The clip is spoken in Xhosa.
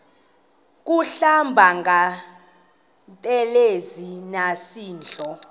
kuhlamba ngantelezi nasidlo